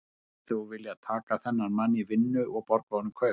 Myndir þú þá vilja taka þennan mann í vinnu og borga honum kaup?